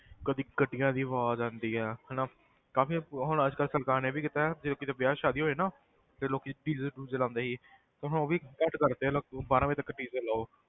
ਕਦੇ ਗੱਡੀਆਂ ਦੀ ਆਵਾਜ਼ ਆਉਂਦੀ ਆ ਹਨਾ ਕਾਫ਼ੀ ਹੁਣ ਅੱਜ ਕੱਲ੍ਹ ਸਰਕਾਰ ਨੇ ਵੀ ਕੀਤਾ ਹੈ ਜਦੋਂ ਕਿਤੇ ਵਿਆਹ ਸ਼ਾਦੀ ਹੋਏ ਨਾ ਤੇ ਲੋਕੀ DJ ਡੂਜੇ ਲਾਉਂਦੇ ਸੀ ਤੇ ਹੁਣ ਉਹ ਵੀ ਬੰਦ ਕਰ ਦਿੱਤੇ ਆ ਲਗ~ ਬਾਰਾਂ ਵਜੇ ਤੱਕ DJ ਲਾਓ,